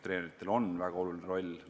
Treeneritel on väga oluline roll.